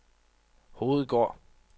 Hovedgård